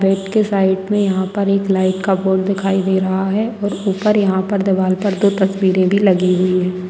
बेड़ के साइड में यहां पर एक लाइट का बोर्ड दिखाई दे रहा है और ऊपर यहाँ पर दीवार पर दो तस्वीरें भी लगी हुई हैं।